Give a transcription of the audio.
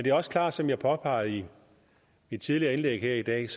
er også klart som jeg påpegede i mit tidligere indlæg her i dag